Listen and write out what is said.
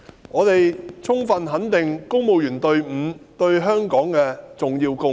我們充分肯定公務員隊伍對香港的重要貢獻。